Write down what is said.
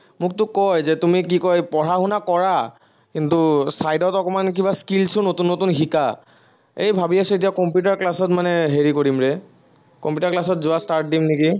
মোকতো কয় যে, তুমি কি কয়, পঢ়া শুনা কৰা, কিন্তু side ত অকমান কিবাকিবি skills ও নতুন নতুন শিকা। এৰ ভাবি আছো এতিয়া কম্পিউটাৰ class ত মানে হেৰি কৰিম ৰে, কম্পিউটাৰ class ত যোৱা start দিম নেকি